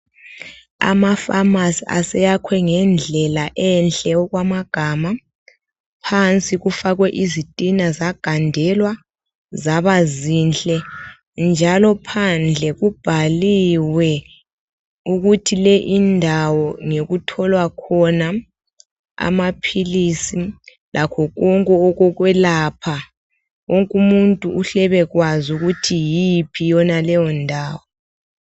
Amafamasi aseyakwe ngendlela enhle okwamagama phansi kufakwe izitina zagandelwa zaba zinhle njalo phandle kubhaliwe ukuthi le indawo ngokutholwa khona amaphilisi lakho konke okokwelapha wonke umuntu uhle abakwazi ukuthi yiyiphi leyo ndawo